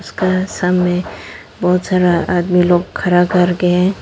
इसका सामने बहोत सारा आदमी लोग खरा करके है।